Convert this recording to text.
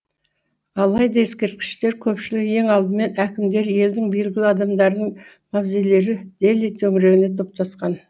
алайда ескерткіштер көпшілігі ең алдымен әкімдер елдің белгілі адамдарының мавзолейлері дели төңірегіне топтасқан